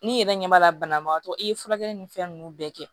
N'i yɛrɛ ɲɛ b'a la banabagatɔ i ye furakɛli ni fɛn ninnu bɛɛ kɛ